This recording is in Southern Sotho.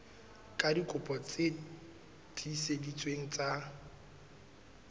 ka dikopi tse tiiseleditsweng tsa